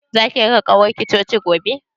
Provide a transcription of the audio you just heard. Zaki raka ƙawarki coci gobe?